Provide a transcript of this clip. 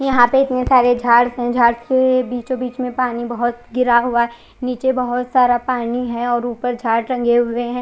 यहाँ पे इतने सारे झाड़ झाड़ के बीचो बिच में पानी बहोत गिरा हुआ है निचे बहोत सारा पानी है और उपर झाड़ टंगे हुए है।